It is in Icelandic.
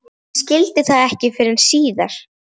Hún skildi það ekki fyrr en síðar.